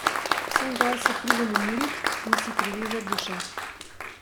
Sem gor se pridem umirit in si privezat dušo.